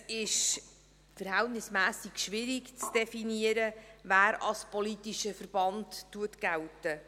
Es ist verhältnismässig schwierig zu definieren, wer als politischer Verband gilt.